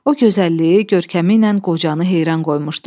O gözəlliyi, görkəmi ilə qocanı heyran qoymuşdu.